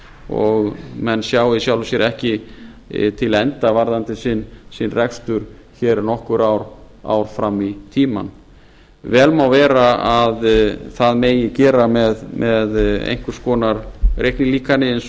og menn sjá í sjálfu sér ekki til enda varðandi sinn rekstur nokkur ár fram í tímann vel má vera að það megi gera með einhvers konar reiknilíkani eins